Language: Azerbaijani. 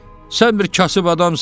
Sən bir kasıb adamsan.